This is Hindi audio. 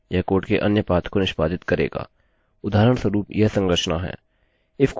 ifकोष्ठकों के अंदर शर्त यह जानने के लिए है कि 1 1 के बराबर है